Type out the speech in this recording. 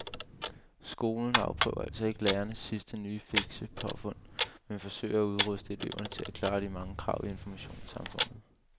Skolen afprøver altså ikke lærernes sidste nye fikse påfund men forsøger at udruste eleverne til at klare de mange krav i informationssamfundet.